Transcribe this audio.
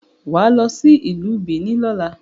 Wà á lọ sí Ìlú Bìíní lọ́la.